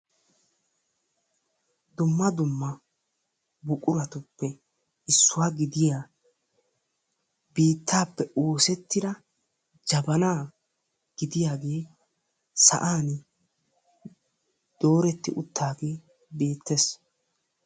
Dumma dumma buquratuppe issuwaa gidiyaa biittaappe oosettida jabanaa gidiyaagee sa'an dooretti uttagee beettees.